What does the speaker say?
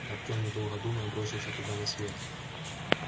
артем не долго думая бросился туда на свет